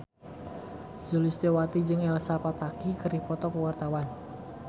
Sulistyowati jeung Elsa Pataky keur dipoto ku wartawan